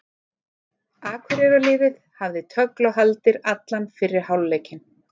Akureyrarliðið hafði tögl og haldir allan fyrri hálfleikinn.